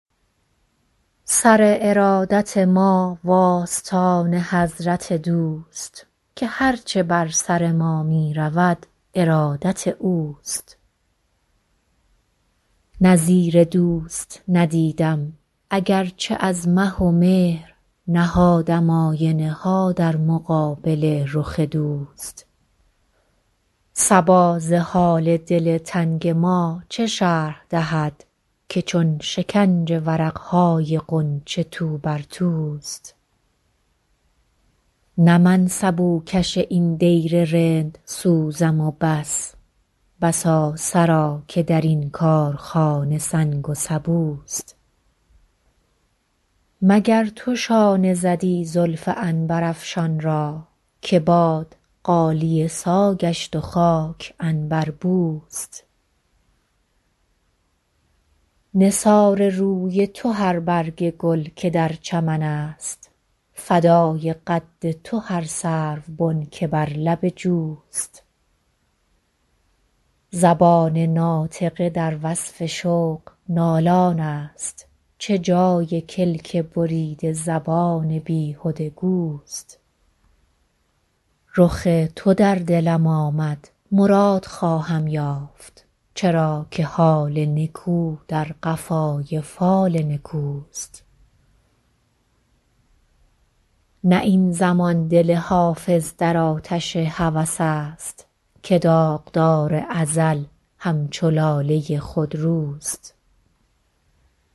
سر ارادت ما و آستان حضرت دوست که هر چه بر سر ما می رود ارادت اوست نظیر دوست ندیدم اگر چه از مه و مهر نهادم آینه ها در مقابل رخ دوست صبا ز حال دل تنگ ما چه شرح دهد که چون شکنج ورق های غنچه تو بر توست نه من سبوکش این دیر رندسوزم و بس بسا سرا که در این کارخانه سنگ و سبوست مگر تو شانه زدی زلف عنبرافشان را که باد غالیه سا گشت و خاک عنبربوست نثار روی تو هر برگ گل که در چمن است فدای قد تو هر سروبن که بر لب جوست زبان ناطقه در وصف شوق نالان است چه جای کلک بریده زبان بیهده گوست رخ تو در دلم آمد مراد خواهم یافت چرا که حال نکو در قفای فال نکوست نه این زمان دل حافظ در آتش هوس است که داغدار ازل همچو لاله خودروست